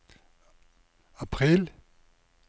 april